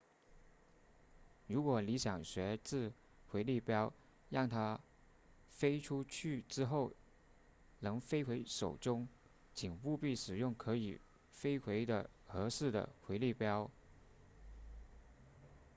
如果你想学掷回力镖让它飞出去之后能飞回手中请务必使用可以飞回的合适的回力镖